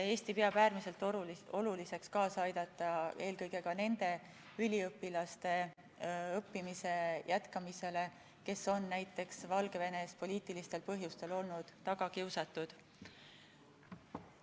Eesti peab äärmiselt oluliseks aidata kaasa sellele, et õppimist saaksid jätkata eelkõige need üliõpilased, kes on olnud Valgevenes poliitilistel põhjustel tagakiusatud.